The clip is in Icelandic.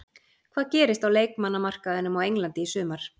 Hvað gerist á leikmannamarkaðinum á Englandi í sumar?